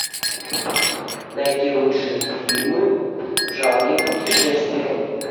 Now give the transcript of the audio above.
найти лучшие фильмы в жанре путешествия